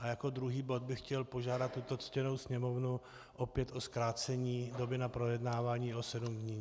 A jako druhý bod bych chtěl požádat tuto ctěnou Sněmovnu opět o zkrácení doby na projednávání o sedm dní.